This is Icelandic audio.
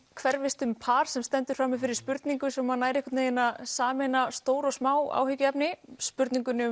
hverfist um par sem stendur frammi fyrir spurningu sem nær einhvern veginn að sameina stór og smá áhyggjuefni spurningunni